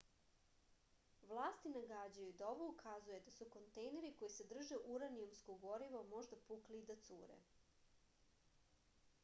vlasti nagađaju da ovo ukazuje da su kontejneri koji sadrže uranijumsko gorivo možda pukli i da cure